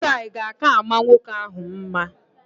Bolo taị ga aka ama nwoke ahụ mma